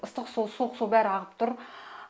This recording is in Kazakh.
ыстық су суық су бәрі ағып тұр